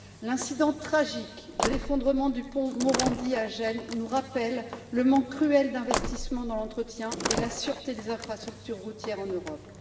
L'incident tragique de l'effondrement du point Morandi à Gênes nous rappelle le manque cruel d'investissements dans l'entretien et la sûreté des infrastructures routières en Europe.